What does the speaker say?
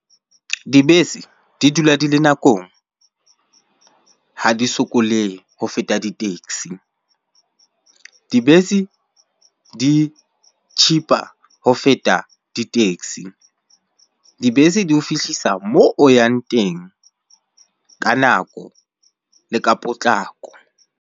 Dibese di dula di le nakong ha di sokolehe ho feta di-taxi. Dibese di cheaper ho feta di-taxi, dibese di ho fihlisa mo o yang teng ka nako le ka potlako.